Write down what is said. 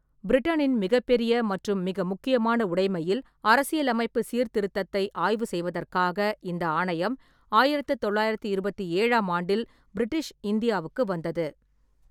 பிரிட்டனின் மிகப்பெரிய மற்றும் மிக முக்கியமான உடைமையில் அரசியலமைப்பு சீர்திருத்தத்தை ஆய்வு செய்வதற்காக இந்த ஆணையம் ஆயிரத்து தொள்ளாயிரத்து இருபத்தி ஏழாம் ஆண்டில் பிரிட்டிஷ் இந்தியாவுக்கு வந்தது.